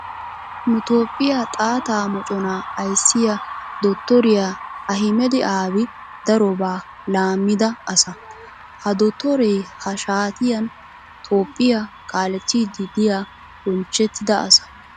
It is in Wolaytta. Nu toophiya xaatta moconaa ayissiya dotoriya ahmeda abi darobaa laammida asa. Ha dottoree ha shaatiyan toophphiya kaalettiiddi diya bonchchettida asa.